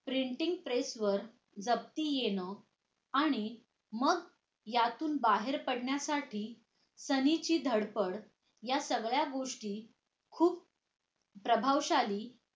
printing press वर जप्ती येणं आणि मग यातून बाहेर पाडण्यासाठी सालिमची धडपड या सगळ्या गोष्टी खुप प्रभावशाली